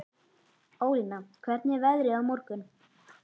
Ólína, hvernig er veðrið á morgun?